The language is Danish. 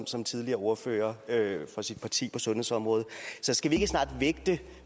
som tidligere ordfører for sit parti på sundhedsområdet så skal vi ikke snart vægte